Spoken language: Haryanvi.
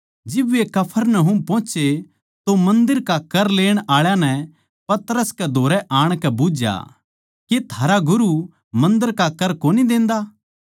जिब वे कफरनहूम पोहोचे तो मन्दर का कर लेण आळा नै पतरस कै धोरै आणकै बुझ्झया के थारा गुरू मन्दर का कर कोनी देंदा